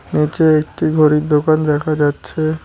নীচে একটি ঘড়ির দোকান দেখা যাচ্ছে।